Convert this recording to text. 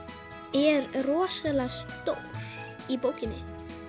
er rosalega stór í bókinni